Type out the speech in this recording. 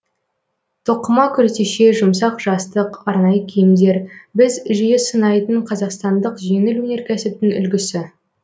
тоқыма күртеше жұмсақ жастық арнайы киімдер біз жиі сынайтын қазақстандық жеңіл өнеркәсіптің үлгісі